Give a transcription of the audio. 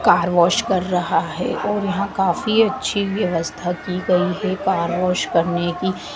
Car wash कर रहा है और यहां काफी अच्छी व्यवस्था की गई है कार वॉश करने की।